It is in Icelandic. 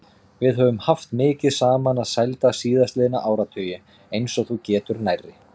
Við höfum haft mikið saman að sælda síðastliðna áratugi, eins og þú getur nærri.